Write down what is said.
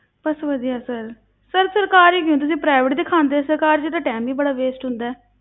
ਬਸ ਵਧੀਆ sir sir ਸਰਕਾਰੀ ਨੀ ਤੁਸੀਂ private ਦਿਖਾਉਂਦੇ, ਸਰਕਾਰੀ ਵਿੱਚ ਤਾਂ time ਹੀ ਬੜਾ waste ਹੁੰਦਾ ਹੈ।